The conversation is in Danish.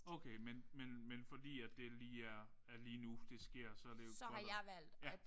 Okay men men men fordi at det lige er er lige nu det sker så er det jo